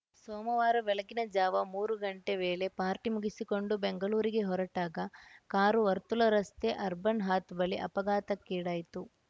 ಸೋಮವಾರ ಬೆಳಗಿನ ಜಾವ ಮೂರು ಗಂಟೆ ವೇಳೆ ಪಾರ್ಟಿ ಮುಗಿಸಿಕೊಂಡು ಬೆಂಗಳೂರಿಗೆ ಹೊರಟಾಗ ಕಾರು ವರ್ತುಲ ರಸ್ತೆಯ ಅರ್ಬನ್‌ ಹಾತ್‌ ಬಳಿ ಅಪಘಾತಕ್ಕೀಡಾಯಿತು